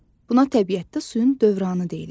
Buna təbiətdə suyun dövranı deyilir.